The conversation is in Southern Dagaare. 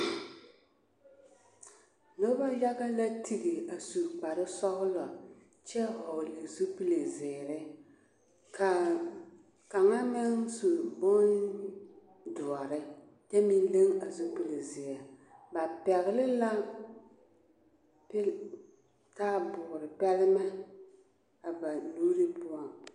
Noba yaɡa la tiɡi a su kparsɔɡelɔ kyɛ hɔɔle zupili ziiri ka kaŋa meŋ su bondoɔre kyɛ meŋ leŋ a zupili zeɛ ba pɛɡele la taaboore kpɛlemɛ a ba nuuri.